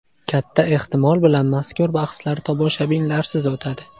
Katta ehtimol bilan mazkur bahslar tomoshabinlarsiz o‘tadi.